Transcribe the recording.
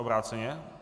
Obráceně?